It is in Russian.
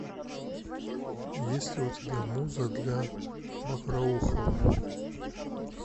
есть ли у тебя муза для мокроухова